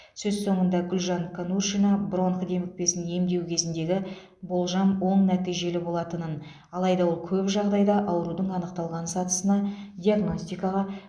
сөз соңында гүлжан конуршина бронх демікпесін емдеу кезіндегі болжам оң нәтижелі болатынын алайда ол көп жағдайда аурудың анықталған сатысына диагностикаға